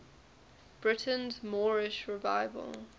britain's moorish revival